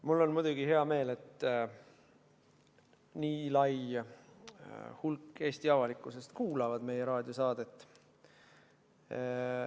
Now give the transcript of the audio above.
Mul on muidugi hea meel, et nii suur osa Eesti avalikkusest kuulab meie raadiosaadet.